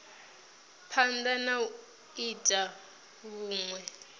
phanda na u ita vhunwe